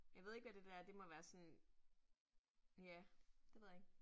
Jeg ved ikke, hvad det der er, det må være sådan, ja, det ved jeg ikke